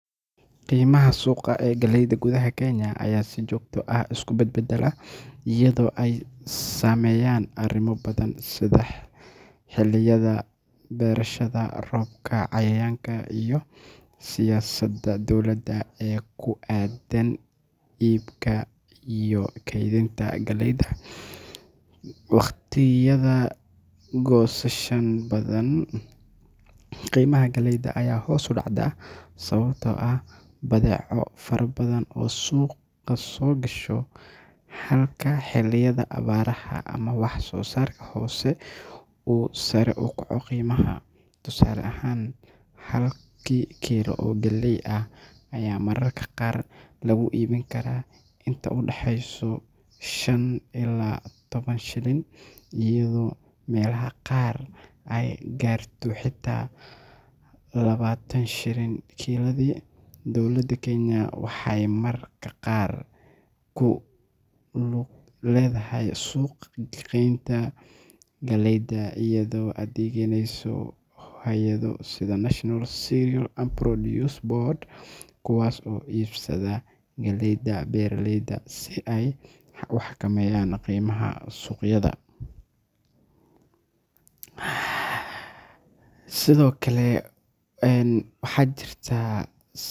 Qiimaha suuqa ee galleyda gudaha Kenya ayaa si joogto ah isu bedbeddela iyadoo ay saameeyaan arrimo badan sida xilliyada beerashada, roobabka, cayayaanka, iyo siyaasadda dowladda ee ku aaddan iibka iyo kaydinta galleyda. Waqtiyada goosashada badan, qiimaha galleyda ayaa hoos u dhacda sababtoo ah badeeco fara badan oo suuqa soo gasha, halka xilliyada abaaraha ama wax-soo-saarka hoose uu sare u kaco qiimaha. Tusaale ahaan, halkii kiilo oo galley ah ayaa mararka qaar lagu iibin karaa inta u dhaxaysa shan ilaa toban shilin, iyadoo meelaha qaar ay gaarto xitaa labaatan shilin kiiladii. Dowladda Kenya waxay mararka qaar ku lug leedahay suuq-geynta galleyda iyadoo adeegsaneysa hay’ado sida National Cereals and Produce Board, kuwaas oo iibsada galleyda beeraleyda si ay u xakameeyaan qiimaha suuqyada. siyhokale waxa jirtaa.